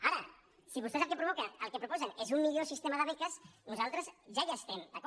ara si vostès el que proposen és un mi·llor sistema de beques nosaltres ja hi estem d’acord